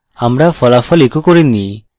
oh! আমরা ফলাফল echo করিনি